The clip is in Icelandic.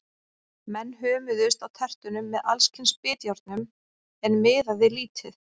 Menn hömuðust á tertunum með alls kyns bitjárnum, en miðaði lítið.